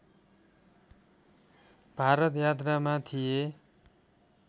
भारत यात्रामा थिए